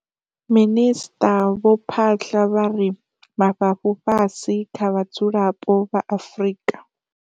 Minisṱa vho Phaahla vha ri mafhafhu fhasi kha vhadzulapo vha Afrika.